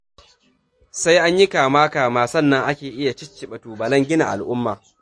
Sai an yi kama -kama sannan ake iya cicciɓa tubalan gina al'umma.